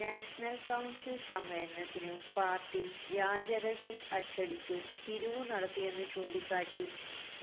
national council സമ്മേളനത്തിനു party വ്യാജ രസീത് അച്ചടിച്ചു പിരിവു നടത്തിയെന്നു ചൂണ്ടിക്കാട്ടി